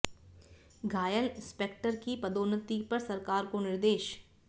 घायल इंस्पेक्टर की पदोन्नति पर सरकार को निर्देश